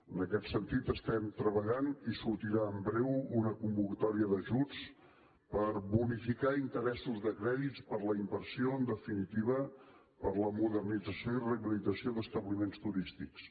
en aquest sentit hi estem treballant i sortirà en breu una convocatòria d’ajuts per bonificar interessos de crèdits per la inversió en definitiva per la modernització i rehabilitació d’establiments turístics